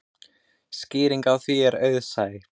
Skýringin á því er auðsæ.